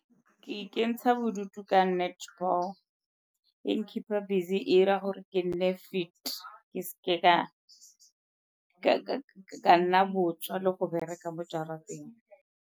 Ke ikentsha bodutu ka netball, e n-keep-a busy e 'ira gore ke nne fit, ke seke ka nna botswa le go bereka mo jarateng.